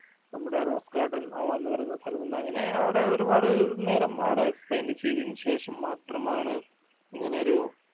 നമ്മടെ rose garden എന്ന് പറഞ്ഞ സ്ഥലമുണ്ട്‍ അങ്ങനെ അവടെ ഒരുപാട് നേരം അവടെ spend ചെയ്തേന് ശേഷം മാത്രമാണ് ഇങ്ങനൊരു